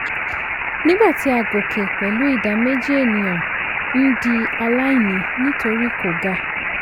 nigba ti a gòkè pẹ̀lú ìdá méjì ènìyàn ń di aláìní nítorí kò ga.